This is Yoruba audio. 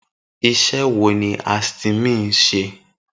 Isé wo ni Astymin ń ṣe?